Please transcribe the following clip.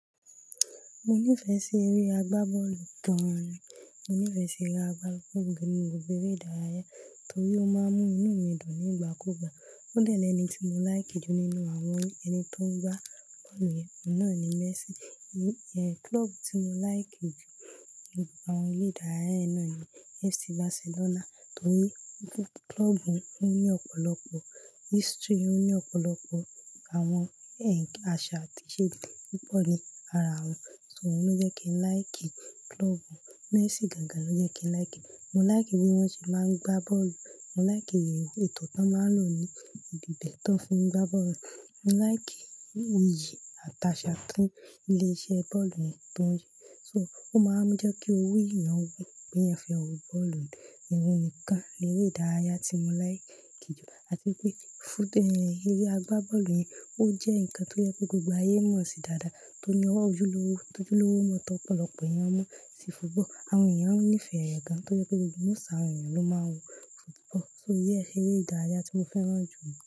Mo nífẹ̀ẹ́ sí eré agbábọ́ọ̀lù gán an. Mo nífẹ̀ẹ́ sí ere agbábọ́ọ̀lù nínú gbogbo eré ìdárayá torí ó máa ń mú inú mi dùn nígbà kú gbà. Ó dẹ́ lẹni tí mo láìkì jù nínú àwọn ẹni tó ń gbá bọ́ọ̀lù yẹn náà ni Messi. Klọ́ọ̀bù tí mo láìkì jù nínú àwọn eré ìdárayá náà ni FC Barcelona torí klọ́ọ̀bù náà ní ọ̀pọ̀lọpọ̀ history, ó ní ọ̀pọ̀lọpọ̀ àwọn ẹ̀ ń àṣà àti ìṣe to pọ̀ ní ara wọn. So òun ló jẹ́ kí n láìkì klọ́ọ̀bù náà. Messi gàńgan ló jẹ́ kí n láìkì. Mo láìkì bí wọ́n ṣe máa ń gbá bọ́ọ̀lù. Mo láìkì ètò tí wọ́n máa ń lò ní ìbi tó fin gbá bọ́ọ̀lù. Mo láìkì iyì àti aṣa tí ilé iṣẹ́ bọ́ọ̀lù náà ń tọ́jú. So ó máa ń jẹ́ kí ori eeyan wu pé eeyan fe wo bọ́ọ̀lù náà. O hun nìkan léré ìdárayá tí mo láìkì jù. Àti pé fújú eré agbábọ́ọ̀lù yẹn ó jẹ́ nǹkan tó jẹ́ pé gbogbo ayé mọ̀ sí dáadáa torí ọwọ́ ojúlówó, ojúlówó mọ́ ọ̀pọ̀lọpọ̀ ènìyàn mọ̀ sí football. Àwọn ènìyàn á ń nífẹ̀ẹ́ rẹ̀ gan-an tó jẹ́ pé gbogbo Most àwọn ènìyàn ló máa ń wo football. So yeah eré ìdárayá tí mo fẹ́ràn jù.